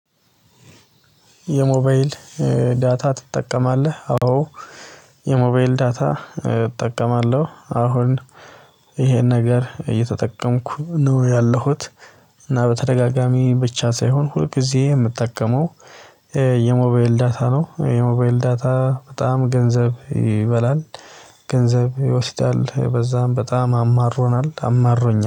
የሞባይል ዳታ ትጠቀማለህ? አዎ የሞባይል ዳታ እጠቀማለሁ። አሁን ይሄን ነገር እየተጠቀምኩ ነው ያለሁት። እና በተደጋጋሚ ብቻ ሳይሆን ሁል ጊዜ የምጠቀመው የሞባይል ዳታ ነው። የሞባይል ዳታ በጣም ገንዘብ ይበላል። ገንዘብ ይወስዳል በዛም በጣም አማሮናል አማሮኛል